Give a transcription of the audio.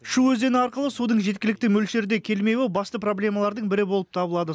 шу өзені арқылы судың жеткілікті мөлшерде келмеуі басты проблемалардың бірі болып табылады